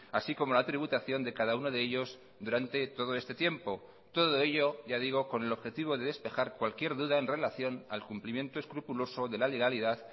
así como la tributación de cada uno de ellos durante todo este tiempo todo ello ya digo con el objetivo de despejar cualquier duda en relación al cumplimiento escrupuloso de la legalidad